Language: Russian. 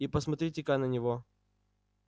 и посмотрите-ка на него